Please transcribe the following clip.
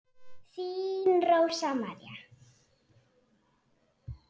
Þín Rósa María.